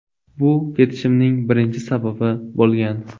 Bu ketishimning birinchi sababi bo‘lgan.